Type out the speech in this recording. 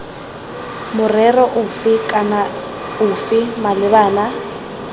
morero ofe kana ofe malebana